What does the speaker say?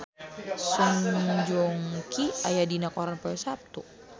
Song Joong Ki aya dina koran poe Saptu